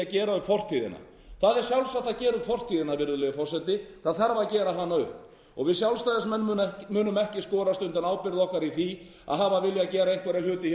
gera upp fortíðina það er sjálfsagt að gera upp fortíðina virðulegi forseti það þarf að gera hana upp og við sjálfstæðismenn munum ekki skorast undan ábyrgð okkar í því að hafa viljað gera einhverja hluti